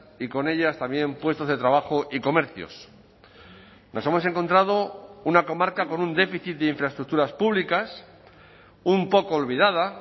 y con ellas también puestos de trabajo y comercios nos hemos encontrado una comarca con un déficit de infraestructuras públicas un poco olvidada